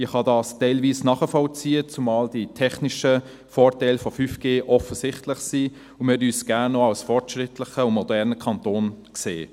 Ich kann dies teilweise nachvollziehen, zumal die technischen Vorteile von 5G offensichtlich sind und wir uns gerne auch als fortschrittlichen und modernen Kanton sehen.